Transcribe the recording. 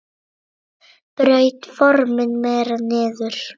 Braut formin meira niður.